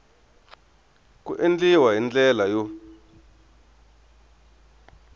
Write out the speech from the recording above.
ku endliwa hi ndlela yo